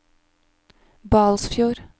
Balsfjord